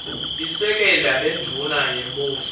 lisekela lendvuna yembuso